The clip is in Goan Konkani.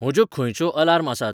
म्हज्यो खंंयच्यो अलार्म आसात